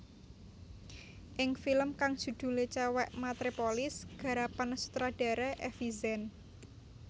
Ing film kang judhulé Cewek Matrepolis garapan sutradara Effi Zen